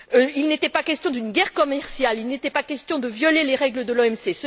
Il n'était pas question d'une guerre commerciale, il n'était pas question de violer les règles de l'OMC.